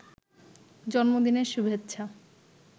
জন্মদিনের শুভেচ্ছা